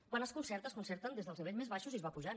quan es concerta es concerta des dels nivells més baixos i es va pujant